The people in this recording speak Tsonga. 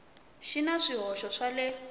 xi na swihoxo swa le